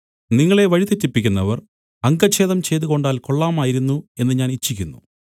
നിങ്ങളെ വഴിതെറ്റിപ്പിക്കുന്നവർ അംഗച്ഛേദം ചെയ്തുകൊണ്ടാൽ കൊള്ളാമായിരുന്നു എന്ന് ഞാൻ ഇച്ഛിക്കുന്നു